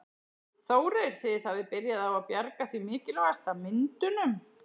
Þórir: Þið hafið byrjað á að bjarga því mikilvægasta, myndunum?